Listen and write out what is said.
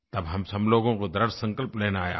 तब हम सब लोगों को दृढ़ संकल्प लेना है आज